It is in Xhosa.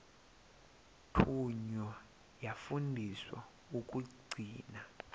thunywa yafundiswa ukugcina